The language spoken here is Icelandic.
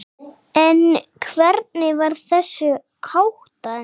En hvernig var þessu háttað?